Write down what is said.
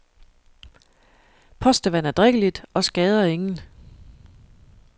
Postevand er drikkeligt og skader ingen.